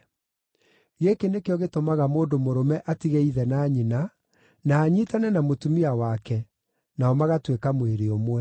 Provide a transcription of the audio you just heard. Gĩkĩ nĩkĩo gĩtũmaga mũndũ mũrũme atige ithe na nyina, na anyiitane na mũtumia wake, nao magatuĩka mwĩrĩ ũmwe.